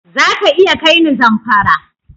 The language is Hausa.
Za ka iya kai ni Zamfara?